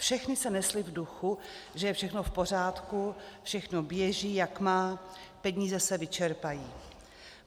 Všechny se nesly v duchu, že je všechno v pořádku, všechno běží, jak má, peníze se vyčerpají.